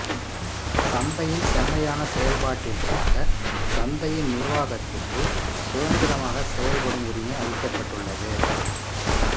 சந்தையின் செம்மையான செயல்பாட்டிற்காகச் சந்தையின் நிர்வாகத்திற்குச் சுதந்திரமாகச் செயல்படும்உரிமை அளிக்கப்பட்டுள்ளது